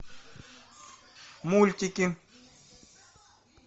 мультики